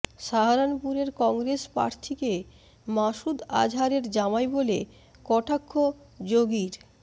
সাহারানপুরের কংগ্রেস প্রার্থীকে মাসুদ আজহারের জামাই বলে কটাক্ষ যোগীর